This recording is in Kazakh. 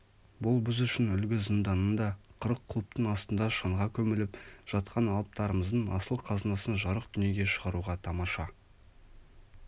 бұл біз үшін үлгі зынданында қырық құлыптың астында шаңға көміліп жатқан алыптарымыздың асыл қазынасын жарық дүниеге шығаруға тамаша